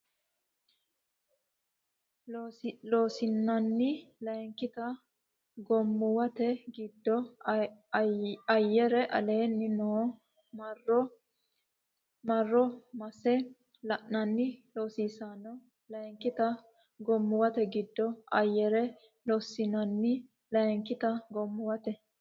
Loossinanni Layinkita goommuwate giddo ayyare aleenni noo marro wo mase la nanni Loossinanni Layinkita goommuwate giddo ayyare Loossinanni Layinkita goommuwate.